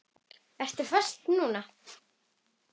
Ertu á föstu núna?